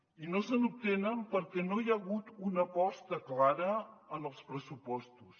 i no se n’obtenen perquè no hi ha hagut una aposta clara en els pressupostos